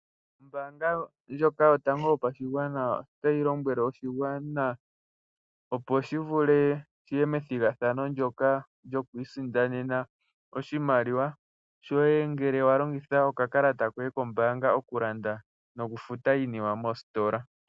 Ombaanga ndjoka yotango yopashigwana, otayi lombwele oshigwana opo shi kuthe ombinga methigathano ndyoka lyoku isindanena oshimaliwa shoye, ngele wa longitha okakalata koye kombaanga okulanda noku futa iinima moositola.